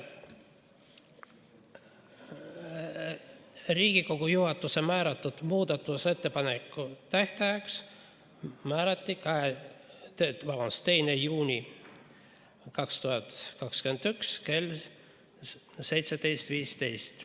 Riigikogu juhatus määras muudatusettepanekute tähtajaks 2. juuni 2021 kell 17.15.